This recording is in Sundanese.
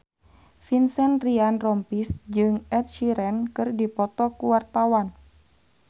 Vincent Ryan Rompies jeung Ed Sheeran keur dipoto ku wartawan